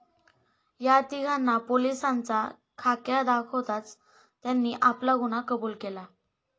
या तीघांना पोलिसांचा खाक्या दाखवताच त्यांनी आपला गुन्हा कबुल केला.